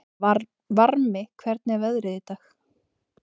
Varmi, hvernig er veðrið í dag?